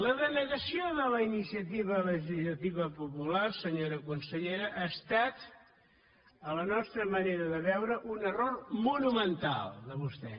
la denegació de la iniciativa legislativa popular senyora consellera ha estat a la nostra manera de veure un error monumental de vostè